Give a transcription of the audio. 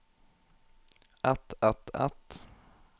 et et et